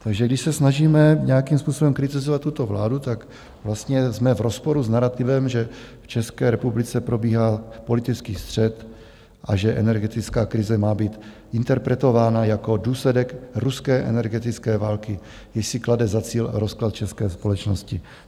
Takže když se snažíme nějakým způsobem kritizovat tuto vládu, tak vlastně jsme v rozporu s narativem, že v České republice probíhá politický střet a že energetická krize má být interpretována jako důsledek ruské energetické války, jež si klade za cíl rozklad české společnosti.